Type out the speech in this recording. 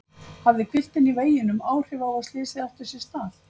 Hafði hvilftin í veginum áhrif á að slysið átti sér stað?